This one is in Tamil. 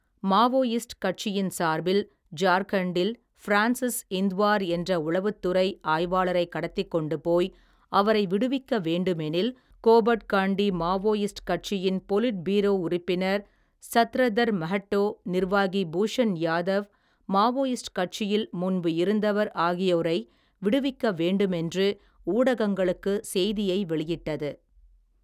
மாவோயிஸ்ட் கட்சியின் சார்பில் ஜார்கண்டில் பிரான்சிஸ் இந்த்வார் என்ற உளவுத்துறை ஆய்வாளரை கடத்திக் கொண்டு போய் அவரை விடுவிக்க வேண்டுமெனில் கோபட் காண்டி மாவோயிஸ்ட் கட்சியின் போலிட் பீரோ உறுப்பினர் சத்ரதர் மஹட்டோ நிர்வாகி பூஷன் யாதவ் மாவோயிஸ்ட் கட்சியில் முன்பு இருந்தவர் ஆகியோரை விடுவிக்க வேண்டுமென்று ஊடகங்களுக்கு செய்தியை வெளியிட்டது.